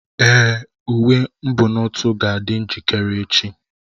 Èé, uwe mbunotu ga-adị njikere echi.